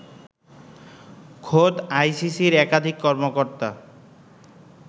খোদ আইসিসির একাধিক কর্মকর্তা